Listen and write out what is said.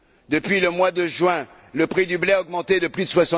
Depuis le mois de juin, le prix du blé a augmenté de plus